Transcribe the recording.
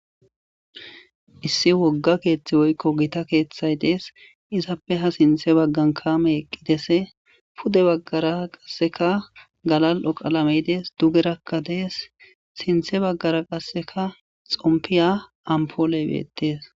Issi wogga keththi woykko gita keththa y dees izappe ha sinththa baggan kaamey eqqides puude baggara qasekka galali'o qalamey dees duugerakka dees sinththe baggara qasekka xompiya ampoley beettes